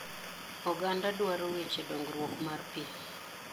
Oganda dwaro weche dongruok mar pii